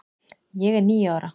ég er níu ára.